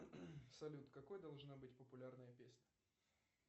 салют какой должна быть популярная песня